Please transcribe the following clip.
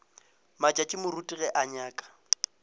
matšatši moruti ge ke nyaka